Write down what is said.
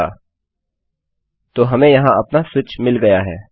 अच्छा तो हमें यहाँ अपना स्विच मिल गया है